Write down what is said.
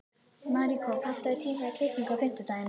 Maríkó, pantaðu tíma í klippingu á fimmtudaginn.